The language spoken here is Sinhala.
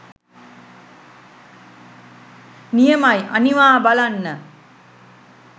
නියමයි අනිවා බලන්න